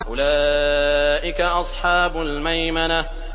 أُولَٰئِكَ أَصْحَابُ الْمَيْمَنَةِ